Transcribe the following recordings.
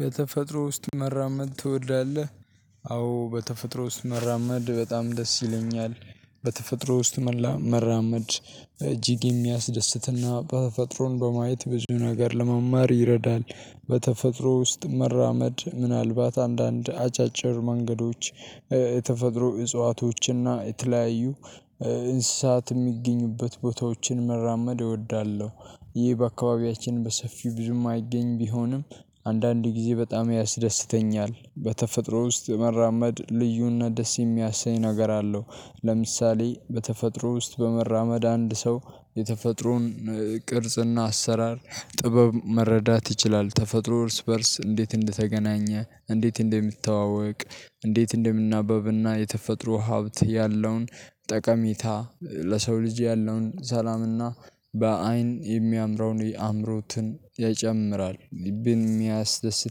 በተፈጥሮ ውስጥ መራመድ ትወዳለህ? አዎ በተፈጥሮ ውስጥ መራመድ በጣም ደስ ይለኛል። በተፈጥሮ ውስጥ መራመድ እጅግ የሚያስደስትና ተፈጥሮን በማየት ብዙ ነገር ለመማር ይረዳል። በተፈጥሮ ውስጥ መራመድ ምናልባት አንዳንድ አጫጭር መንገዶች የተፈጥሮ እጽዋቶችና የተለያዩ እንስሳት የሚገኙበት ቦታዎችን መራመድ እወዳለሁ። ይህ በአካባቢያችን በሰፊው ብዙም አይገኝም ቢሆንም አንዳንድ ጊዜ በጣም ያስደስተኛል። በተፈጥሮ ውስጥ የመራመድ ልዩነት ደስ የሚያሰኝ ነገር አለው። ለምሳሌ በተፈጥሮ ውስጥ በመራመድ አንድ ሰው የተፈጥሮን ቅርጽና አሰራር ጥበብ መረዳት ይችላል። ተፈጥሮ እርስ በእርስ እንዴት እንደተገናኘ፣ እንዴት እንደምትተዋወቅ፣ እንዴት እንደምናበብና፣ የተፈጥሮ ሀብት ያለውን ጠቀሚታ ለሰው ልጅ ያለውን ሰላምና በአይን የሚያምረውን የአእምሮትን ይጨምራል ልብን የሚያስደስት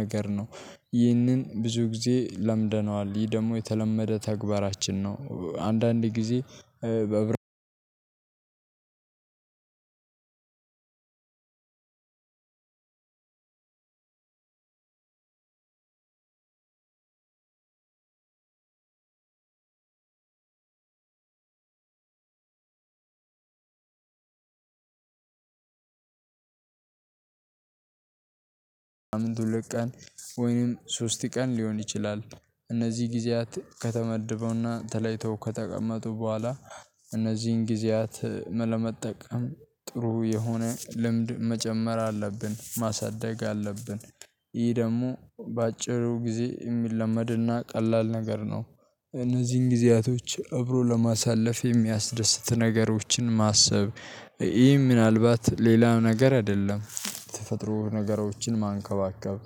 ነገር ነው። ይህንን ብዙ ጊዜ ለምደነዋል ይህ ደግሞ የተለመደ ተግባራችን ነው። አንዳንዴ ጊዜ በዕብረት አንድ አንድ በሳምንትን ሁለት ቀን ወይንም ሶስት ቀን ሊሆን ይችላል። እነዚህ ጊዜያት ከተመደበውና ተለይተው ከተቀመጡ በኋላ እነዚህን ጊዜያት ለመጠቀም ጥሩ የሆነ ልምድ መጨመር አለብን ማሳደግ አለብን። ይህ ደግሞ በአጭሩ ጊዜ የሚለመድና ቀላል ነገር ነው። እነዚህን ጊዜያቶች እብሮ ለማሳለፍ የሚያስደስት ነገሮችን ማሰብ ይህ ምናልባት ሌላው ነገር አይደለም ተፈጥሮ ነገሮችን ማንከባከብ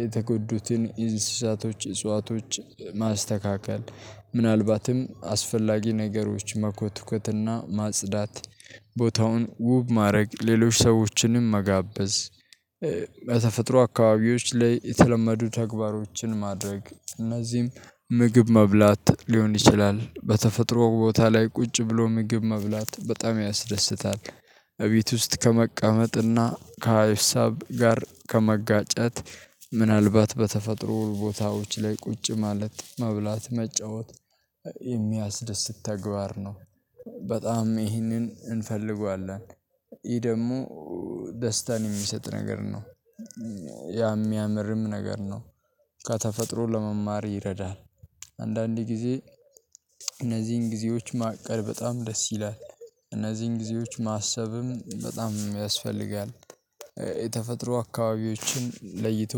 የተጎዱትን እንስሳቶች እጽዋቶች ማስተካከል ምናልባትም አስፈላጊ ነገሮች መኮትኮትና ማጽዳት። ቦታውን ውብ ማድረግ ሌሎች ሰዎችንም መጋበዝ በተፈጥሮ አካባቢዎች ላይ የተለመዱ ተግባሮችን ማድረግ እነዚህም ምግብ መብላት ሊሆን ይችላል በተፈጥሮ ቦታ ላይ ቁጭ ብሎ ምግብ መብላት በጣም ያስደስታል። እቤት ውስጥ ከመቀመጥና ከሀሳብ ጋር ከመጋጨት እነዚህን ጊዜያት ለመጠቀም ጥሩ የሆነ ልምድ መጨመር አለብን ማሳደግ አለብን። ይህ ደግሞ በአጭሩ ጊዜ የሚለመድና ቀላል ነገር ነው። እነዚህን ጊዜያቶች እብሮ ለማሳለፍ የሚያስደስት ነገሮችን ማሰብ በጣም ይህንን እንፈልገዋለን ይህ ደግሞ ደስታን የሚሰጥ ነገር ነው። የሚያምርም ነገር ነው። ከተፈጥሮ ለመማር ይረዳል። አንዳንድ ጊዜ እነዚህን ጊዜዎች ማቀድ በጣም ደስ ይላል እነዚህን ጊዜዎች ማሰብም በጣም ያስፈልጋል። የተፈጥሮ አካባቢዎችን ለይቶ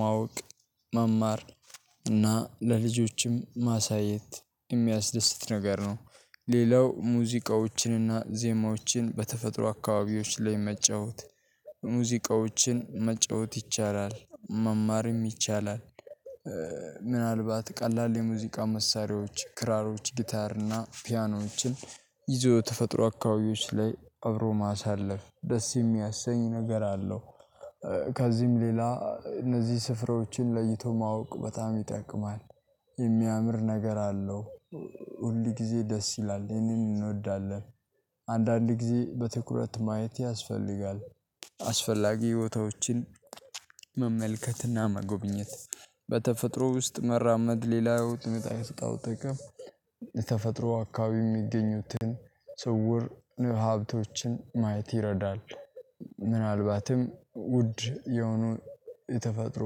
ማወቅ መማር እና ለልጆችም ማሳየት የሚያስደስት ነገር ነው። ሌላው ሙዚቃዎችንና ዜማዎችን በተፈጥሮ አካባቢዎች ላይ መጫወት ሙዚቃዎችን መጫወት ይቻላል መማርም ይቻላል። ምናልባት ቀላል የሙዚቃ መሳሪያዎች ክራሮች ጊታር እና ፒያኖችን ይዞ የተፈጥሮ አካባቢዎች ላይ አብሮ ማሳለፍ ደስ የሚያሰኝ ነገር አለው። ከዚህም ሌላ እነዚህ ስፍራዎችን ለይቶ ማወቅ በጣም ይጠቅማል። የሚያምር ነገር አለው ሁል ጊዜ ደስ ይላል ይሄንን እንወዳለን። አንዳንድ ጊዜ በትኩረት ማየት ያስፈልጋል። አስፈላጊ ቦታዎችን መመልከትና መጎብኘት በተፈጥሮ ውስጥ መራመድ ሌላው የሚጠቅመው ጥቅም ተፈጥሮ አካባቢ የሚገኙትን ስውር ሀብቶችን ማየት ይረዳል። ምናልባትም ውድ የሆኑ የተፈጥሮ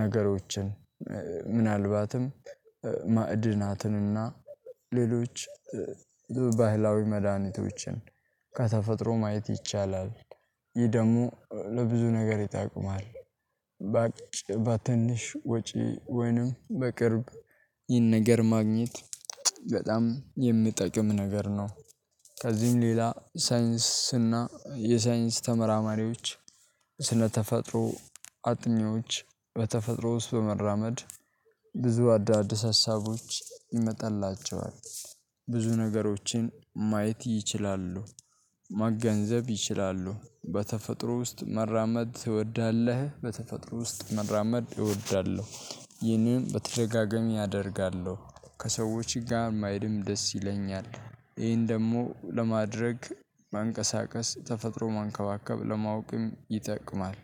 ነገሮችን ምናልባትም ማዕድናትንና ሌሎች ባህላዊ መድሃኒቶችን ከተፈጥሮ ማየት ይቻላል። ይህ ደግሞ ለብዙ ነገር ይጠቅማል። በትንሽ ወጪ ወይንም በቅርብ ይህን ነገር ማግኘት በጣም የሚጠቅም ነገር ነው። ከዚህም ሌላ ሳይንስና የሳይንስ ተመራማሪዎች ስለተፈጥሮ አጥኚዎች በተፈጥሮ ውስጥ በመራመድ ብዙ አዳዲስ ሀሳቦች ይመጣላቸዋል። ብዙ ነገሮችን ማየት ይችላሉ መገንዘብ ይችላሉ። በተፈጥሮ ውስጥ መራመድ ትወዳለህ? በተፈጥሮ ውስጥ መራመድ እወዳለሁ ይህንን በተደጋጋሚ አደርጋለሁ ከሰዎች ጋር መሄድም ደስ ይለኛል ይሄን ደግሞ ለማድረግ ማንቀሳቀስ ተፈጥሮ መንከባከብ ለማወቅም ይጠቅማል።